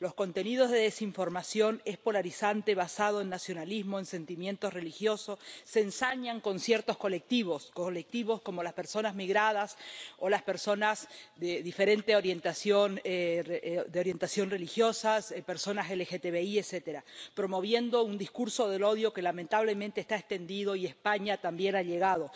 Los contenidos de desinformación, polarizantes y basados en nacionalismos, en sentimientos religiosos, se ensañan con ciertos colectivos ⸻colectivos como las personas migradas o las personas de diferente orientación religiosa, personas LGTBI, etcétera⸻, promoviendo un discurso del odio que, lamentablemente, está extendido, y a España también ha llegado.